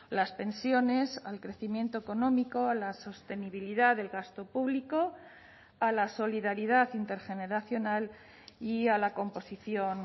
las pensiones al crecimiento económico la sostenibilidad del gasto público a la solidaridad intergeneracional y a la composición